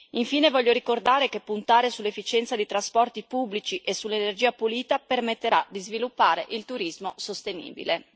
Infine, voglio ricordare che puntare sull'efficienza dei trasporti pubblici e sull'energia pulita permetterà di sviluppare il turismo sostenibile.